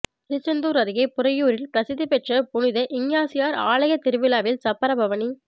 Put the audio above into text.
திருச்செந்தூர் அருகே புறையூரில் பிரசித்தி பெற்ற புனித இஞ்ஞாசியார் ஆலய திருவிழாவில் சப்பர பவனி